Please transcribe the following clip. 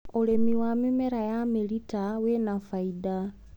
ũrĩmi wa mĩmera ya mĩrita wĩna fainda.